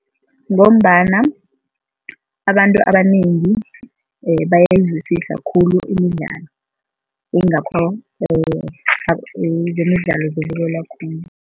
Ngombana abantu abanengi bayayizwisisa khulu imidlalo yingakho zemidlalo zibukelwa khulu.